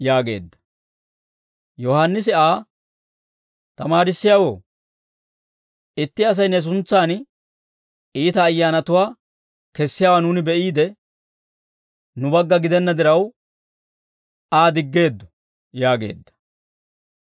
Yohaannisi Aa, «Tamaarissiyaawoo, itti Asay ne suntsan iita ayyaanatuwaa kessiyaawaa nuuni be'iide, nu bagga gidenna diraw, Aa diggeeddo» yaageedda.